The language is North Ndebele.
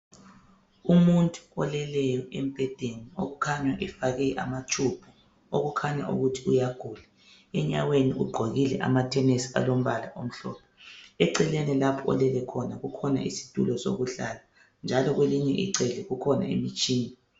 Umuntu oleleyo embhedeni okukhanya efake amatshubhu okukhanya ukuthi uyagula. Enyaweni ugqokile amathenisi lombala lamhlophe. Eceleni lapho olele khona kukhona isitulo sokuhlala njalo kwelinye icele kukhona imitshina.